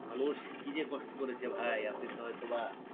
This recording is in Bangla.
মানুষ কি যে কষ্ট করেছে ভাই আপনি তো হয়তো বা